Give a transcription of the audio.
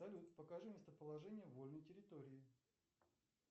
салют покажи местоположение вольной территории